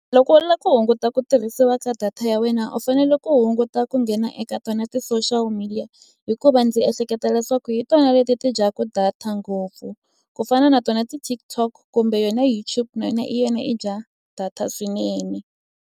Loko u lava ku hunguta ku tirhisiwa ka data ya wena u fanele ku hunguta ku nghena eka tona ti-social media hikuva ndzi ehleketa leswaku hi tona leti ti dyaka data ngopfu ku fana na tona ti-TikTok kumbe yona YouTube na yona i yona i dya data swinene.